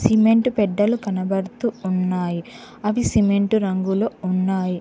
Cement పెడ్డలు కనబడుతూ ఉన్నాయి అవి సిమెంట్ రంగులో ఉన్నాయి.